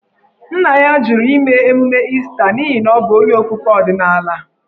Nna ya jụrụ ime emume Ista n’ihi na ọ bụ onye okpukpe ọdịnala.